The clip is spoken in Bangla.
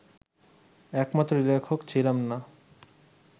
একমাত্র লেখক ছিলাম না